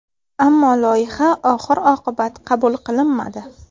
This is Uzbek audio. Ammo loyiha oxir-oqibat qabul qilinmadi.